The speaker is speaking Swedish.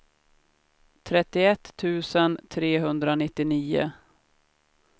trettioett tusen trehundranittionio